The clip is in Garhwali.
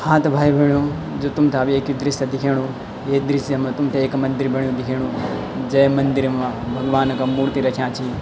हाँ त भाई भैणों जु तुम्थे अब एक दृश्य दिख्येणू ये दृश्य मा तुम्थे एक मंदिर बण्यु दिख्येणु जै मंदिर मा भगवान् का मूर्ति रख्याँ छी।